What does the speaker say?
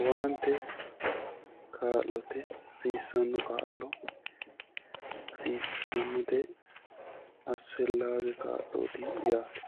Owaante kaa'lote hasiissano kaa'lo hasiissanote asifelage ka'looti yaate